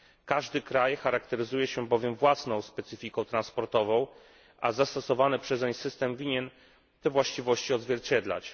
Każdy kraj charakteryzuje się bowiem własną specyfiką transportową, a zastosowany przez niego system powinien te właściwości odzwierciedlać.